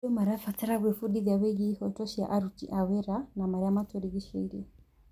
Andũ marabatara gwĩbundithia wĩgiĩ ihooto cia aruti a wĩra na marĩa matũrigicĩirie.